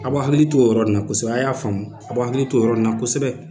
A b'u hakili to o yɔrɔ nin na kosɛbɛ, a y'a faamu, a b'u hakili to o yɔrɔ nin na kosɛbɛ.